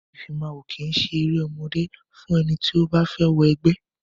Ìfimáwo kìí eré ọmọdé fún ẹni tó bá fẹ́ wọ ẹgbẹ́.